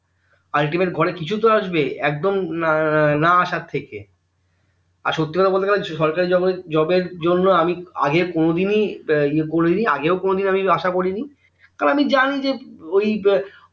ultimate ঘরে কিছুতো আসবে একদম না আসার থেকে আর সত্যি কথা বলতে গেলে সরকারি job জন্য আমি আগে কোনদিনও উহ করিনি আর আগেও কোনোদিন আশা করিনি তবে আমি জানি যে ওই